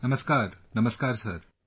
Namaskar, Namaksar Sir